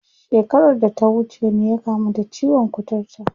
Shekarar da ta wuce ne ya kamu da ciwon kuturta.